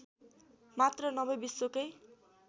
मात्र नभै विश्वकै